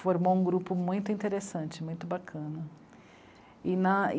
formou um grupo muito interessante, muito bacana. E na